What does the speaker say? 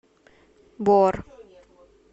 бор